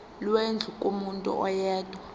lwendlu kumuntu oyedwa